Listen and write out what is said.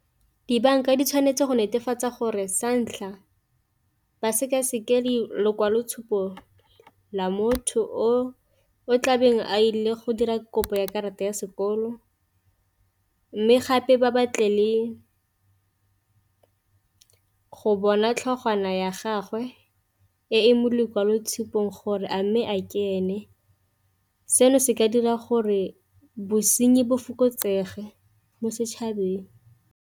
Dibanka di tshwanetse go netefatsa gore sa ntlha ba seka-seka lekwalotshupo la motho o tlabeng a ile go dira kopo ya karata ya sekolo, mme gape ba batle le go bona ditlhogwana ya gagwe e mo lekwaloitshupong gore a mme a ke ene, seno se ka dira gore bosenyi bo fokotsege mo setšhabeng.